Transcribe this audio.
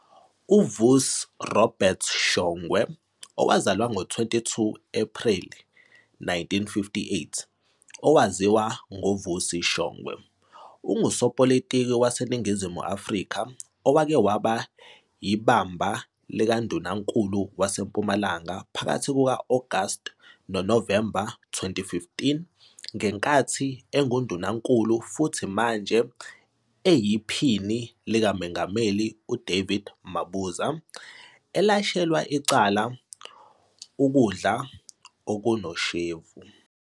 UVusi Robert Shongwe, owazalwa ngo-22 Ephreli 1958, owaziwa ngoVusi Shongwe, ungusopolitiki waseNingizimu Afrika owake waba yibamba likaNdunankulu waseMpumalanga phakathi kuka-Agasti noNovemba 2015 ngenkathi enguNdunankulu futhi manje eyiPhini likaMengameli uDavid Mabuza elashelwa icala ukudla okunoshevu.